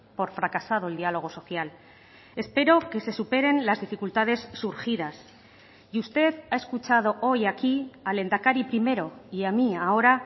por fracasado el diálogo social espero que se superen las dificultades surgidas y usted ha escuchado hoy aquí al lehendakari primero y a mí ahora